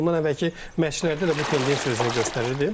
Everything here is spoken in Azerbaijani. Bundan əvvəlki məşqçilərdə də bu tendensiya özünü göstərirdi.